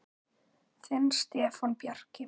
Þinn Stefán Bjarki.